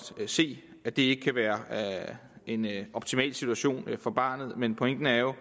se at det ikke kan være en optimal situation for barnet men pointen er jo